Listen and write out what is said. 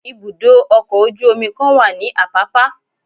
ibudọ ọkọ ojú omí kan wa ní apapa.